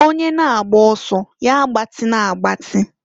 Onye na-agba ọsọ ya agbatịna agbatin.